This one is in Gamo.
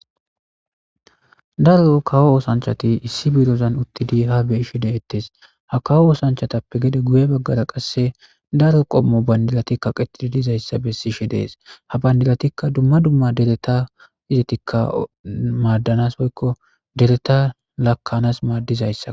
Daro kawo osanchat issi madadan utid ha beyishe detes. Ha kawo osanchatappe gede guye bagara qase daro qomo bandirat kaqet dizaysa beses. Ha bandiratika dumma dumma dereta madanas woykko laka'ans madizaysako.